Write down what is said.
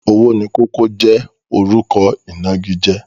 Owónikókó jẹ́ orúkọ ìnagijẹ.